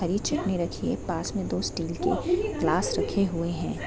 हरी चटनी रखी है पास में दो स्टील के गिलास रखे हुए है।